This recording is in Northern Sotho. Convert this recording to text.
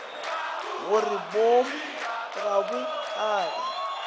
gore boomo ga bo age